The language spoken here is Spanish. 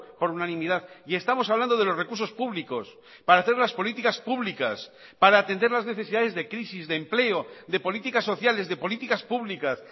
por unanimidad y estamos hablando de los recursos públicos para hacer las políticas públicas para atender las necesidades de crisis de empleo de políticas sociales de políticas públicas